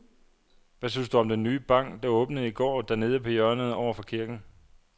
Hvad synes du om den nye bank, der åbnede i går dernede på hjørnet over for kirken?